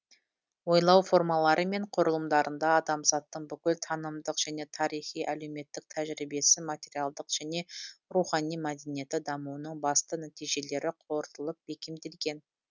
ойлау формалары мен құрылымдарында адамзаттың бүкіл танымдық және тарихи әлеуметтік тәжірибесі материалдық және рухани мәдениеті дамуының басты нәтижелері қорытылып бекемделген